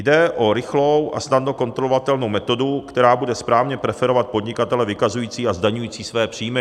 Jde o rychlou a snadno kontrolovatelnou metodu, která bude správně preferovat podnikatele vykazující a zdaňující své příjmy.